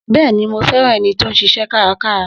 Bẹ́ẹ̀ni, mo fẹ́ràn ẹni tó ń ṣiṣẹ́ kárakára